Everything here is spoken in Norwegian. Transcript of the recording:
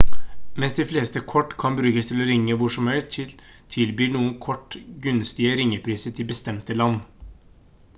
mens de fleste kort kan brukes til å ringe hvor som helst tilbyr noen kort gunstige ringepriser til bestemte land